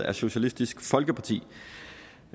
af socialistisk folkeparti